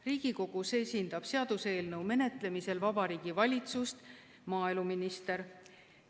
Riigikogus esindab seaduseelnõu menetlemisel Vabariigi Valitsust maaeluminister.